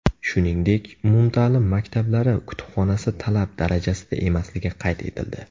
Shuningdek, umumta’lim maktablari kutubxonasi talab darajasida emasligi qayd etildi.